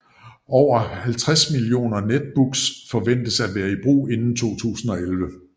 Over 50 millioner Netbooks forventes at være i brug inden 2011